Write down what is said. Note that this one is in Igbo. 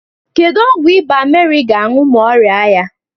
Kedu ọgwụ ịba ka Meri ga-aṅụ ma ọ rịa ya?